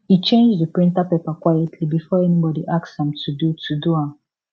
e change di printer paper quietly before anybody ask am to do to do am